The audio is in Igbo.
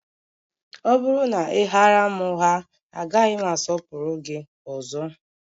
Ọ bụrụ na ị ghaara m ụgha, agaghị m asọpụrụ gị ọzọ